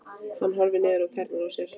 Hann horfir niður á tærnar á sér.